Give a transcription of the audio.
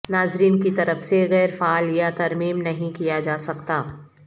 ناظرین کی طرف سے غیر فعال یا ترمیم نہیں کیا جا سکتا